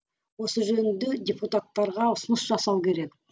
осы жөнінде депутаттарға ұсыныс жасау керек